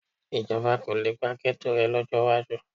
Ìjọba kò le pa ghetto rẹ̀ lọ́jọ́ iwájú